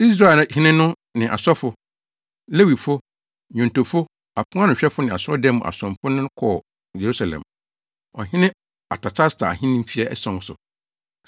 Israelhene no ne asɔfo, Lewifo, nnwontofo, aponanohwɛfo ne asɔredan mu asomfo ne no kɔɔ Yerusalem, ɔhene Artasasta ahenni mfe ason so.